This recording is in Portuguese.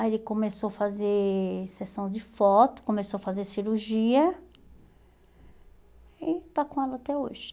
Aí ele começou a fazer sessão de foto, começou a fazer cirurgia e está com ela até hoje.